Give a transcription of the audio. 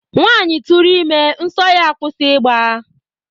Nwaanyị tụrụ ime, nsọ ya akwụsị ịgba